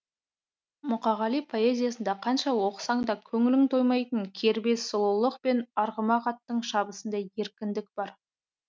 мұқағали поэзиясында қанша оқысаң да көңілің тоймайтын кербез сұлулық пен арғымақ аттың шабысындай еркіндік бар